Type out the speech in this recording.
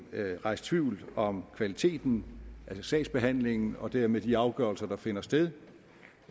rejst tvivl om kvaliteten altså sagsbehandlingen og dermed de afgørelser der finder sted